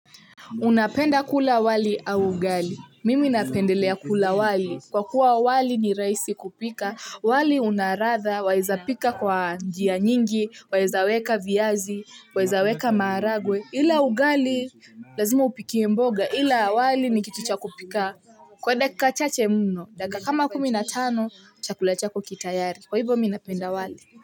Unapenda kula wali au ugali? Mimi napendelea kula wali, kwa kua wali ni rahisi kupika, wali unaladhaa waeza pika kwa njia nyingi, waeza weka viazi, waeza weka maharagwe, ila ugali lazima upikie mboga, ila wali ni kitu cha kupika kwa dakika chache muno, dakika kama kumi na tano, chakula chako kitayari, kwa ivo mimi napenda wali.